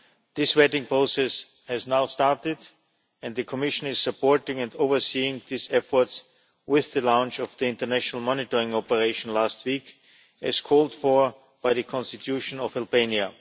This vetting process has now started and the Commission is supporting and overseeing these efforts with the launch of the international monitoring operation last week as called for by the Constitution of Albania.